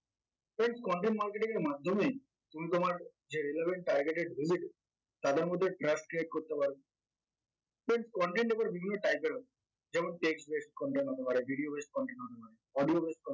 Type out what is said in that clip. friends content marketing এর মাধ্যমে তুমি তোমার যে relevant targeted visitor তাদের মধ্যে trust create করতে পারবে friends content আবার বিভিন্ন type এর আছে যেমন text based অথবা video based content হতে পারে audio based